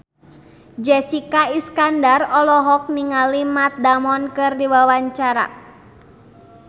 Jessica Iskandar olohok ningali Matt Damon keur diwawancara